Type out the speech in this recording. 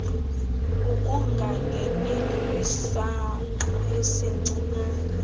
ukungangeneli kwisangqa esincinane